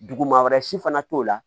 Duguma wɛrɛ si fana t'o la